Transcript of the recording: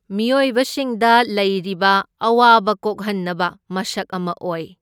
ꯃꯤꯑꯣꯏꯕ ꯁꯤꯡꯗ ꯂꯩꯔꯤꯕ ꯑꯋꯥꯕ ꯀꯣꯛꯍꯟꯅꯕ ꯃꯁꯛ ꯑꯃ ꯑꯣꯏ꯫